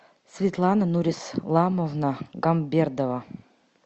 светлана нурисламовна гамбердова